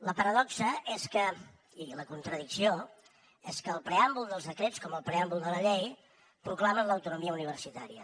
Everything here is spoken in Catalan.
la paradoxa i la contradicció és que el preàmbul dels decrets com el preàmbul de la llei proclama l’autonomia universitària